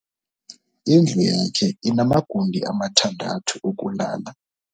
Indlu yakhe inamagumbi amathandathu okulala.